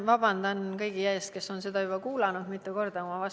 Vabandan kõigi ees, kes on seda juba mitu korda kuulnud.